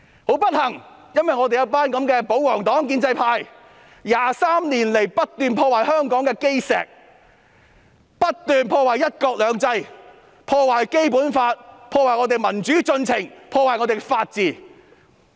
很不幸，有一群這樣的保皇黨和建制派 ，23 年來不斷破壞香港的基石、破壞"一國兩制"、破壞《基本法》、破壞民主進程和破壞法治。